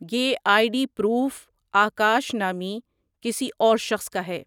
یہ I D proof Akash نامی کسی اور شخص کا ہے۔